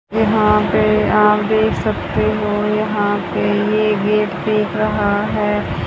यहां पे आप देख सकते हो यहां पे ये गेट दिख रहा है।